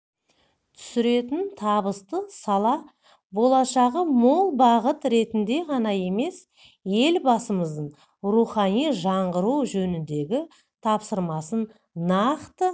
түсіретін табысты сала болашағы мол бағыт ретінде ғана емес елбасымыздың рухани жаңғыру жөніндегі тапсырмасын нақты